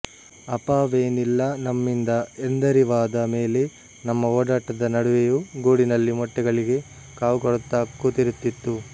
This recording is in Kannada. ಅಪಾವೇನಿಲ್ಲ ನಮ್ಮಿಂದ ಎಂದರಿವಾದ ಮೇಲೆ ನಮ್ಮ ಓಡಾಟದ ನಡುವೆಯೂ ಗೂಡಿನಲ್ಲಿ ಮೊಟ್ಟೆಗಳಿಗೆ ಕಾವು ಕೊಡುತ್ತಾ ಕೂತಿರುತ್ತಿತ್ತು